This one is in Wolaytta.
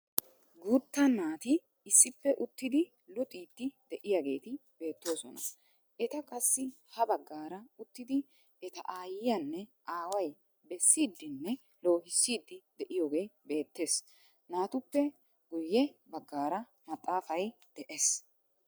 Guutta naati issippe uttidi luxiidi de'iyaageti beettoosna. Eta qassi ha baggaara uttidi eta ayiyaanne aaway bessiidine loohissidi de'iyoogee beettees. naatuppe guye bggaara maxaafay de'ees.